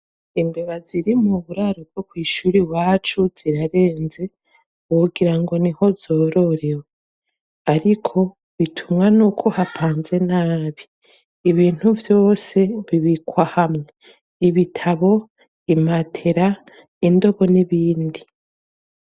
Imbeba ziri mu buraro bwo kw'ishuri iwacu zirarenze. Wogira ngo ni ho zororewe. Ariko bitumwa n'uko hapanze nabi. Ibintu vyose bibikwa hamwe: ibitabo, imatera, indobo, n'ibindi.